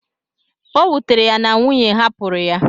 O wutere ya na nwunye hapụrụ ya.